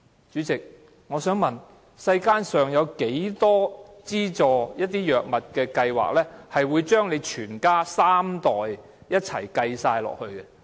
主席，我想問，世間上有多少資助藥物計劃會將三代人都計算在內？